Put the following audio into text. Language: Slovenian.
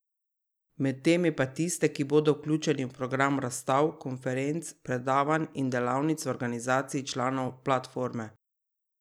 Med temi pa tiste, ki bodo vključeni v program razstav, konferenc, predavanj in delavnic v organizaciji članov platforme.